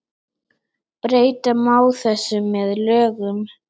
Breyta má þessu með lögum